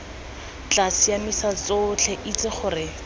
tla siamisa tsotlhe itse gore